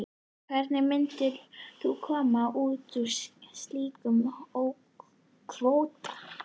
Hvernig myndum við koma út úr slíkum kvóta?